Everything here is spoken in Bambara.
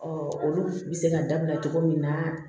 olu bɛ se ka dabila cogo min na